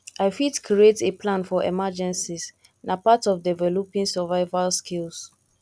i fit create a plan for emergencies na part of developing survival skills